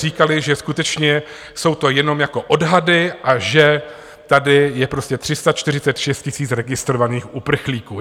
Říkali, že skutečně jsou to jenom jako odhady a že tady je prostě 346 000 registrovaných uprchlíků.